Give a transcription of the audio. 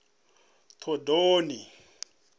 thondoni